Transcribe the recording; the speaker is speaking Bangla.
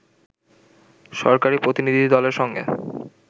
সরকারি প্রতিনিধিদলের সঙ্গে